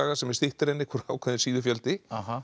sem er styttri en ákveðinn síðufjöldi